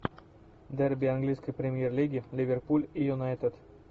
дерби английской премьер лиги ливерпуль и юнайтед